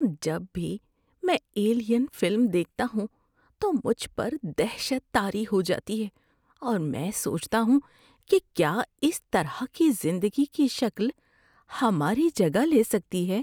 جب بھی میں "ایلین" فلم دیکھتا ہوں تو مجھ پر دہشت طاری ہو جاتی ہے اور میں سوچتا ہوں کہ کیا اس طرح کی زندگی کی شکل ہماری جگہ لے سکتی ہے۔